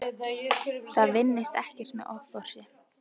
Það vinnist ekkert með offorsi.